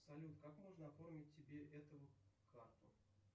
салют как можно оформить себе эту карту